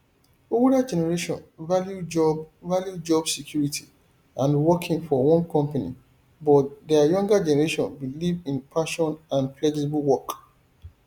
older generation value job value job security and working for one company but di younger generation believe in passion and flexible work